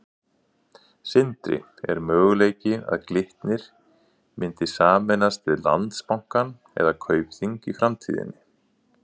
Sindri: Er möguleiki að Glitnir myndi sameinast við Landsbankann eða Kaupþing í framtíðinni?